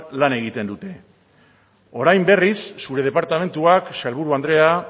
lan egiten dute orain berriz zure departamentuak sailburu andrea